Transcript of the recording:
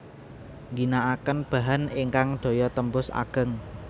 Ngginakaken bahan ingkang daya tembus ageng